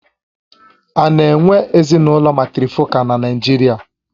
A na-enwe Ezinụlọ màtrịfọ̀kal na Naijiria?